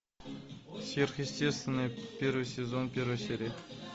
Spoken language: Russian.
сверхъестественное первый сезон первая серия